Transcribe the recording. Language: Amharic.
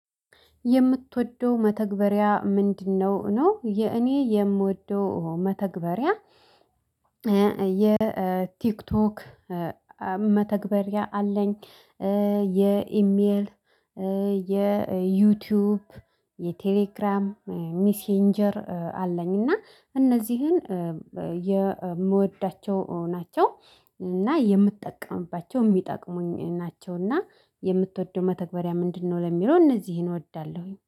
የምትወደው መተግበሪያ ምንድነው? ነው የኔ የምወደው መተግበሪያ የቲክቶክ መተግበሪያ አለኝ የኢሜል የዩቲዩብ የቴሌግራም ሚሴንጀር አለኝ እና እነዚህን የምወዳቸው ናቸው። እና የምጠቀምባቸው የሚጠቅሙኝ ናቸውና የምትወደው መተግበሪያ ምንድነው? ለሚለው እነዚህን እወዳለሁኝ